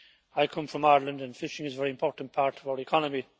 I come from Ireland and fishing is a very important part of our economy.